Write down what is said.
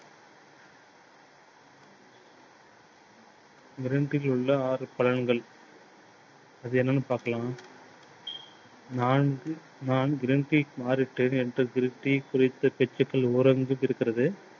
green tea யில் உள்ள ஆறு பலன்கள். அது என்னன்னு பார்க்கலாம் நான் green tea க்கு மாறிட்டடேன். எனக்கு green tea குறித்த ஓரளவிற்கு இருக்கிறது.